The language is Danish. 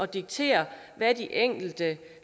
diktere hvad de enkelte